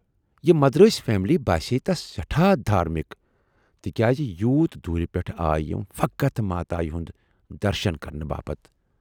یہِ مدرٲسۍ فیملی باسییہِ تَس سٮ۪ٹھاہ دھارمِک تِکیازِ یوٗت دوٗرِ پٮ۪ٹھٕ آیہِ یِم فقط ماتایہِ ہُند درشن کَرنہِ باپتھ۔